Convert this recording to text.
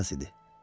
Knyaz idi.